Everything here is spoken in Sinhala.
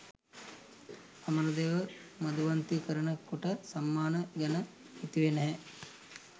අමරදේව 'මධුවන්තී' කරන කොට සම්මාන ගැන හිතුවේ නෑ.